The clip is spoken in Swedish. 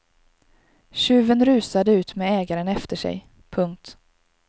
Tjuven rusade ut med ägaren efter sig. punkt